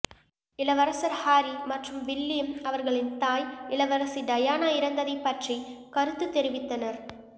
இளவரசர் ஹாரி மற்றும் வில்லியம் அவர்களின் தாய் இளவரசி டயானா இறந்ததைப் பற்றி கருத்து தெரிவித்தனர்